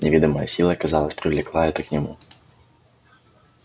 неведомая сила казалось привлекала его к нему